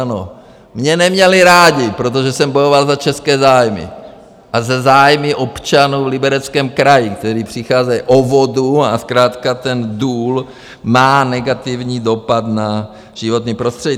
Ano, mě neměli rádi, protože jsem bojoval za české zájmy a za zájmy občanů v Libereckém kraji, kteří přicházejí o vodu a zkrátka ten důl má negativní dopad na životní prostředí.